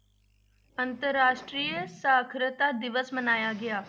ਅੰਤਰ ਰਾਸ਼ਟਰੀ ਸਾਖ਼ਰਤਾ ਦਿਵਸ ਮਨਾਇਆ ਗਿਆ।